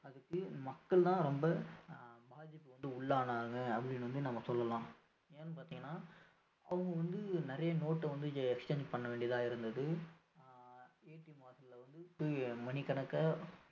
அதுக்கு மக்கள் தான் ரொம்ப ஆஹ் பாதிப்புக்கு உள்ளானாங்க அப்படின்னு வந்து நம்ம சொல்லலாம் ஏன்னு பாத்தீங்கன்னா அவங்க வந்து நிறைய note அ வந்து exchange பண்ண வேண்டியதா இருந்தது ஆஹ் வாசல்ல வந்துட்டு மணிக்கணக்கா